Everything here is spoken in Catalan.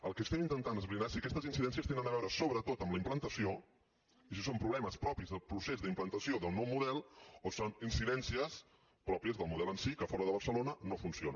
el que estem intentant esbrinar és si aquestes incidències tenen a veure sobretot amb la implantació i si són problemes propis del procés d’implantació del nou model o són incidències pròpies del model en si que fora de barcelona no funciona